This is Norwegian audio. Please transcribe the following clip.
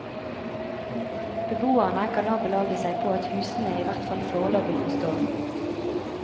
Beboerne kan nå belage seg på at husene i hvert fall foreløpig får stå.